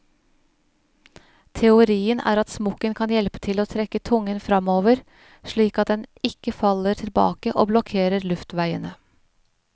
Teorien er at smokken kan hjelpe til å trekke tungen fremover, slik at den ikke faller tilbake og blokkerer luftveiene.